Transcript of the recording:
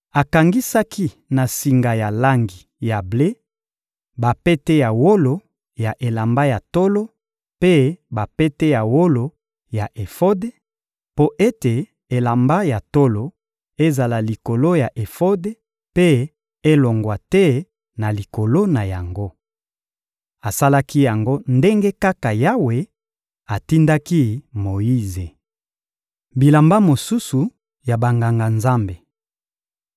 Akangisaki na singa ya langi ya ble bapete ya wolo ya elamba ya tolo mpe bapete ya wolo ya efode, mpo ete elamba ya tolo ezala likolo ya efode mpe elongwa te na likolo na yango. Asalaki yango ndenge kaka Yawe atindaki Moyize. Bilamba mosusu ya Banganga-Nzambe